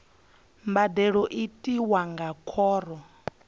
mbadelo i tiwa nga khoro